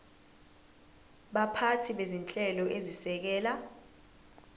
baphathi bezinhlelo ezisekela